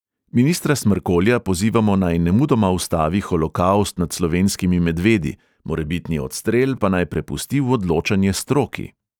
Ministra smrkolja pozivamo, naj nemudoma ustavi holokavst nad slovenskimi medvedi, morebitni odstrel pa naj prepusti v odločanje stroki.